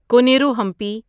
Koneru Hampi